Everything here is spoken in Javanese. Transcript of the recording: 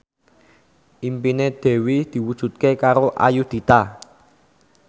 impine Dewi diwujudke karo Ayudhita